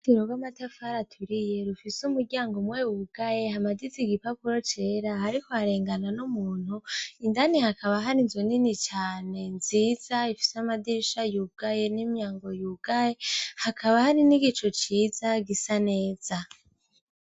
Dino rw'amatafari aturiye rufise umuryango muwe wugaye hamadizi igipapuro cera, ariko harengana n'umuntu indani hakaba hari nzo nini cane nziza bifise amadirisha yubwaye n'imyango yugaye hakaba hari n'igico ciza gisa neza.